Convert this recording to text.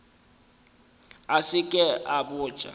a se ke a botša